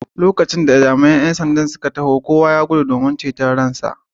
Lokacin da jami’an ‘yan sandan suka iso kowa ya gudu domin ceto rayuwarsa.